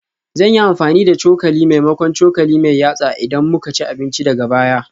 Zan yi amfani da cokali maimakon cokali mai yatsa idan muka ci abinci daga baya